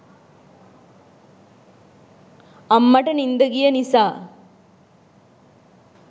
අම්මට නින්ද ගිය නිසා